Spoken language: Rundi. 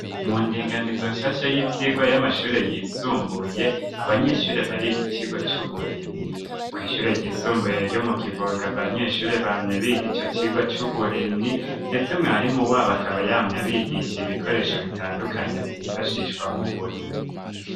Mu ndinganizo nshasha y'ivyigwa y'amashure yisumbuye abanyeshure bariga icigwa c'uburimyi ku ishure ryisumbuye eka mu kivuga banyeshure bamye biga ico cigwa c'uburimyi ndetse mwarimu wabo akaba yamye bigishe ibikoresho bitandukanye vyifashishwa mu burimyi.